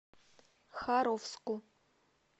харовску